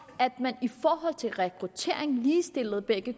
at man i forhold til rekruttering ligestillede